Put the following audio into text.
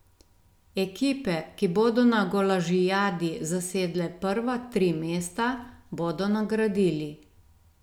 Ekipe, ki bodo na golažijadi zasedle prva tri mesta, bodo nagradili.